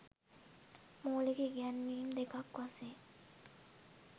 මූලික ඉගැන්වීම් දෙකක් වශයෙන්